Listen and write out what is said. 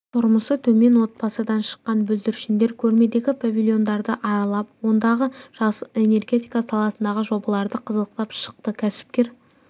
тұрмысы төмен отбасынан шыққан бүлдіршіндер көрмедегі павильондарды аралап ондағы жасыл энергетика саласындағы жобаларды қызықтап шықты кәсіпкер